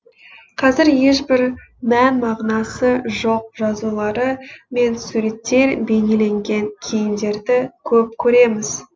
қазір ешбір мән мағынасы жоқ жазулары мен суреттер бейнеленген киімдерді көп көреміз